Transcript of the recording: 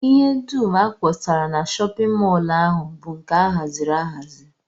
Ihe dum a kpọsara na shọpịn mọl ahụ bụ nke a haziri ahazi